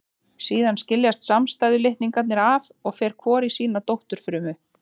Síðan skiljast samstæðu litningarnir að og fer hvor í sína dótturfrumu.